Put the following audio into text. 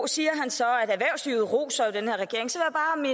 siger han så at erhvervslivet roser